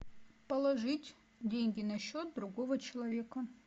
положить деньги на счет другого человека